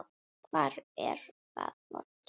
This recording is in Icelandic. Hvar er það vont?